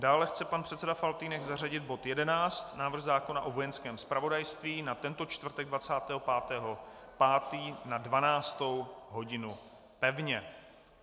Dále chce pan předseda Faltýnek zařadit bod 11, návrh zákona o Vojenském zpravodajství, na tento čtvrtek 25. 5. na 12. hodinu pevně.